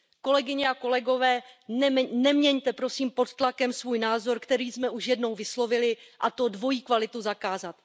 Kolegyně a kolegové, neměňte, prosím, pod tlakem svůj názor, který jsme už jednou vyslovili, a to dvojí kvalitu zakázat.